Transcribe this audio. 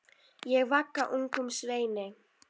Ég vagga ungum sveini.